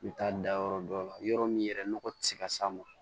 N bɛ taa da yɔrɔ dɔ la yɔrɔ min yɛrɛ nɔgɔ tɛ se ka s'a ma